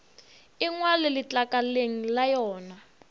e ngwalwe letlakaleng la yona